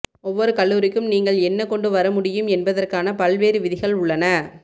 ஒவ்வொரு கல்லூரிக்கும் நீங்கள் என்ன கொண்டு வர முடியும் என்பதற்கான பல்வேறு விதிகள் உள்ளன